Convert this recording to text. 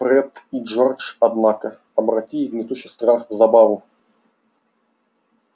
фред и джордж однако обратили гнетущий страх в забаву